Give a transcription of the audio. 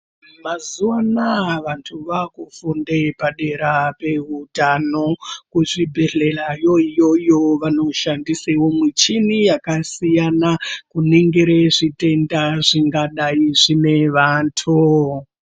Mazuwa anaya vantu vaakufunde padera peutano. Kuzvibhedhlelayo iyoyo vanoshandise muchini yakasiyana-siyana, kuningire zvitenda zvingadai zvine vantu.